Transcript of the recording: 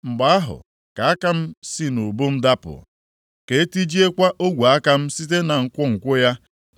mgbe ahụ, ka aka m si nʼubu m dapụ, ka e tijiekwa ogwe aka m site na nkwonkwo ya.